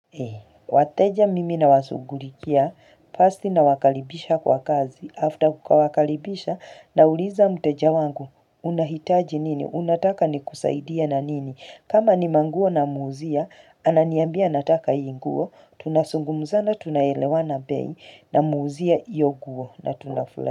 Wateja mimi na washugulikia first na wakalibisha kwa kazi after kukawakalibisha na uliza mteja wangu unahitaji nini unataka ni kusaidia na nini kama ni manguo na muuzia ananiambia nataka hii nguo tunasungumza na tunaelewa na bei na muuzia ioguo na tunafura.